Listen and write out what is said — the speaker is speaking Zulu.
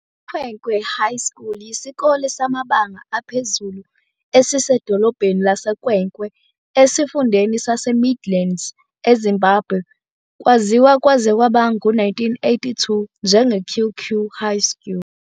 IKwekwe High School yisikole samabanga aphezulu esisedolobheni laseKwekwe, esifundeni saseMidlands eZimbabwe. Kwaziwa kwaze kwaba ngu-1982 njengeQue Que High School.